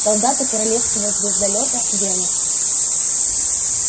солдаты королевского звездолёта венус